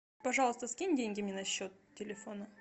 пожалуйста скинь деньги мне на счет телефона